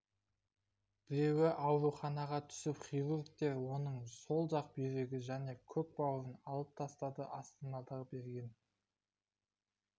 біреуі ауруханаға түсіп хирургтер оның сол жақ бүйрегі мен көк бауырын алып тастады астанадағы берген